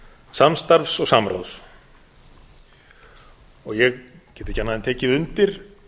samstarfs og samráðs ég get ekki annað en tekið undir